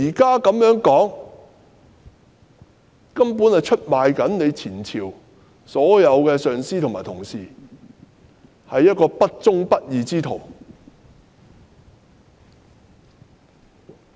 她的說法出賣了前朝的所有上司及同事，她是一個不忠不義之徒。